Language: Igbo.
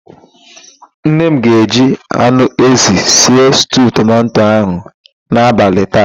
Nne m ga-eji anụ ézì sie stuu tomanto ahụ n'abalị taa.